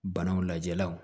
Banaw lajɛlaw